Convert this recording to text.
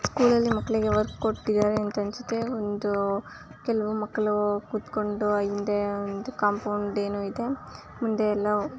school ಅಲ್ಲಿ ಮಕ್ಕಳಿಗೆ work ಕೊಟ್ಟಿದ್ದಾರೆ ಅನ್ಸುತ್ತೆ ಒಂದು ಕೆಲವು ಮಕ್ಕಳೂ ಕೂತಕೊಂಡು ಹಿಂದೆ ಕಾಪೋಂಡ್ ಏನು ಇದೆ ಮುಂದೆ ಎಲ್ಲ--